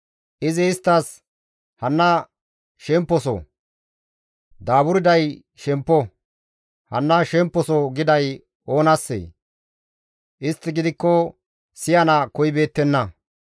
Izi isttas, «Hanna shemposo; daaburday shemppo; hanna shemposo» giday oonassee? Istti gidikko siyana koyibeettenna.